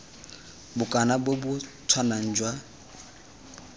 bokana bo bo tshwanang jwa